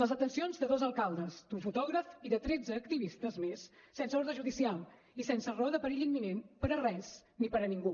les detencions de dos alcaldes d’un fotògraf i de tretze activistes més sense ordre judicial i sense raó de perill imminent per a res ni per a ningú